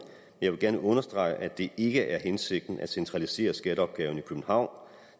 jeg vil gerne understrege at det ikke er hensigten at centralisere skatteopgaven i københavn